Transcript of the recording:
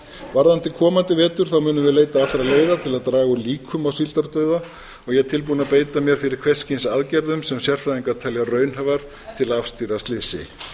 varðandi komandi vetur þá munum við leita allra leiða til að draga úr líkum á síldardauða og ég er tilbúinn að beita mér fyrir hvers kyns aðgerðum sem sérfræðingar telja raunhæfar til að afstýra slysi